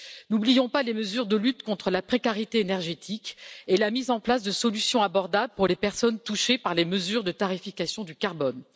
N'oublions pas les mesures de lutte contre la précarité énergétique et la mise en place de solutions abordables pour les personnes touchées par les mesures de tarification du carbone.